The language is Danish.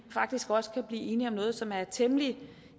faktisk også kan blive enige om noget som er temmelig